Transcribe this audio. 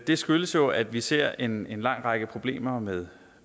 det skyldes jo at vi ser en lang række problemer med